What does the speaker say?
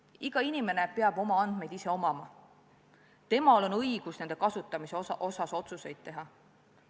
Iga inimene peab oma andmeid ise omama, temal on õigus nende kasutamise kohta otsuseid teha.